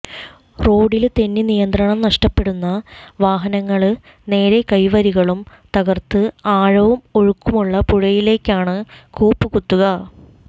റോഡില് തെന്നി നിയന്ത്രണം നഷ്ടപ്പെടുന്ന വാഹനങ്ങള് നേരെ കൈവരികളും തകര്ത്ത് ആഴവും ഒഴുക്കുമുള്ള പുഴയിലേക്കാണ് കൂപ്പ്കുത്തുക